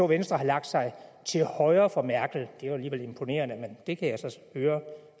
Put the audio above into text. venstre har lagt sig til højre for merkel det er jo alligevel imponerende men det kan jeg så høre